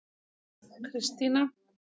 Kristína